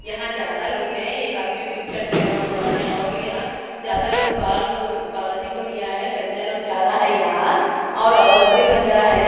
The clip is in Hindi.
यहाँ ज्यादा लोग है एक आदमी पिंक शर्ट पहना हुआ है और यहाँ ज्यादा लोग बाल बालाजी को दिया है गंजा लोग ज्यादा है यहाँ और औरत भी गंजा है।